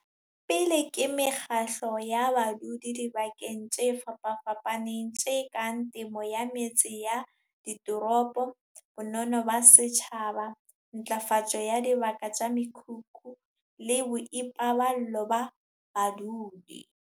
pele ke mekgatlo ya badudi dibakeng tse fapafapaneng tse kang temo ya metse ya ditoropo, bonono ba setjhaba, ntlafatso ya dibaka tsa mekhukhu le boipaballo ba badudi.